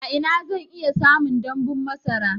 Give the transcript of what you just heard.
A ina zan iya samun damɓun masara?